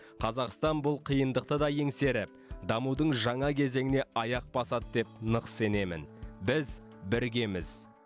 қазақстан бұл қиындықты да еңсеріп дамудың жаңа кезеңіне аяқ басады деп нық сенемін біз біргеміз